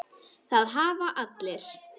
Það hafa allir